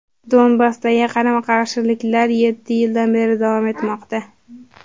Donbassdagi qarama-qarshiliklar yetti yildan beri davom etmoqda.